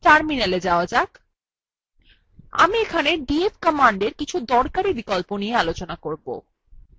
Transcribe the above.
terminala যাওয়া যাক আমি এখানে df command কিছু দরকারী বিকল্প দেখাবো